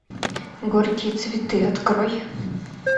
горькие цветы открой